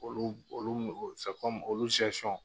Olu olu olu